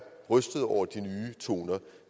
rystede over de nye toner